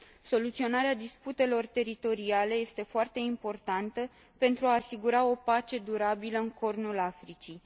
Soluționarea disputelor teritoriale este foarte importantă pentru a asigura o pace durabilă în Cornul Africii.